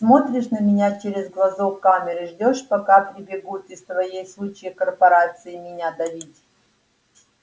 смотришь на меня через глазок камеры ждёшь пока прибегут из твоей сучьей корпорации меня давить